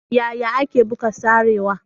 Yaya ake buga sarewa?